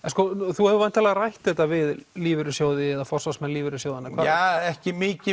þú hefur væntanlega rætt þetta við lífeyrissjóði eða forsvarsmenn lífeyrissjóða ekki mikið